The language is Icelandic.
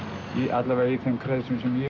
alla vega í þeim kreðsum sem ég